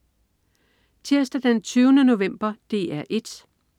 Tirsdag den 20. november - DR 1: